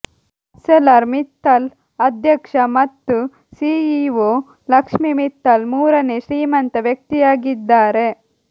Arcelor Mittal ಅಧ್ಯಕ್ಷ ಮತ್ತು CEO Lakshmi Mittal ಮೂರನೇ ಶ್ರೀಮಂತ ವ್ಯಕ್ತಿಯಾಗಿದ್ದಾರೆ